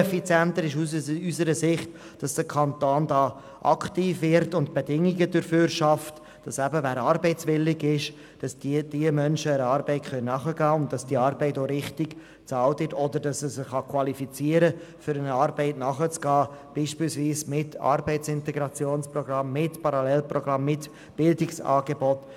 Viel effizienter ist es aus unserer Sicht, dass der Kanton hier aktiv wird und Bedingungen dafür schafft, damit Menschen, die eben arbeitswillig sind, einer Arbeit nachgehen können und dass diese Arbeit auch richtig bezahlt wird oder sich ein Mensch qualifizieren kann, um einer Arbeit nachzugehen, beispielsweise mit einem Arbeitsintegrationsprogramm, mit einem Parallelprogramm oder mit einem Bildungsangebot.